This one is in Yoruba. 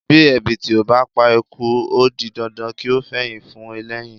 Bí ẹ̀bìtì ò bá pa eku ó di dandan kí ó fẹyìn fún ẹlẹ́yìn.